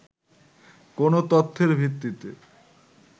কোন তথ্যের ভিত্তিতে